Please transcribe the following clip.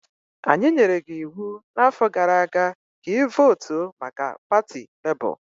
Anyị nyere gị iwu n'afọ gara aga ka ị votu maka pati Labour.